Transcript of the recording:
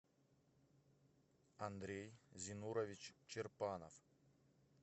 андрей зинурович чербанов